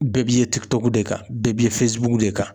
Bɛɛ b'i ye TikTɔk de kan, bɛɛ b'i ye de kan